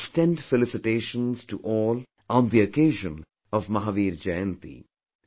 I extend felicitations to all on the occasion of Mahavir Jayanti